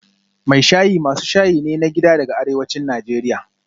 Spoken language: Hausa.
Mai shayi masu shayi ne na gida daga arewacin Najeriya